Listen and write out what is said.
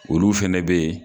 Olu fɛnɛ be yen